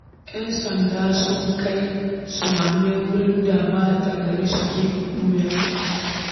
Yan sanda sun kai sumame wurin da ɓata-gari suke ɓuya